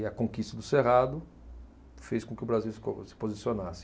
E a conquista do cerrado fez com que o Brasil se co, se posicionasse.